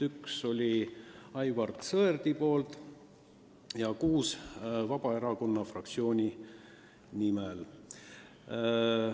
Üks oli Aivar Sõerdilt ja kuus Vabaerakonna fraktsioonilt.